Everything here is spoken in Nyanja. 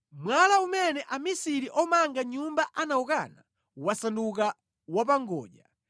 Mwala umene amisiri omanga nyumba anawukana wasanduka wapangodya;